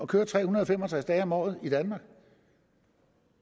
køre tre hundrede og fem og tres dage om året i danmark